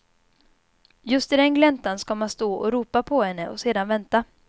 Just i den gläntan ska man stå och ropa på henne och sedan vänta.